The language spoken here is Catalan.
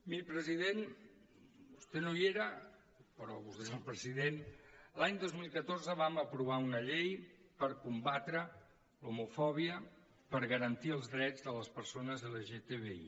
miri president vostè no hi era però vostè és el president l’any dos mil catorze vam aprovar una llei per combatre l’homofòbia per garantir els drets de les persones lgtbi